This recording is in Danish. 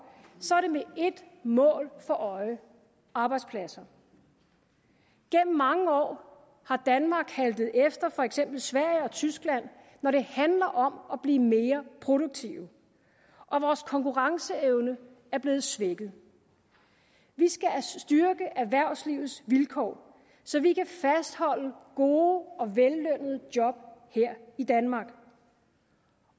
så er det med ét mål for øje arbejdspladser gennem mange år har danmark haltet efter for eksempel sverige og tyskland når det handler om at blive mere produktive og vores konkurrenceevne er blevet svækket vi skal styrke erhvervslivets vilkår så vi kan fastholde gode og vellønnede job her i danmark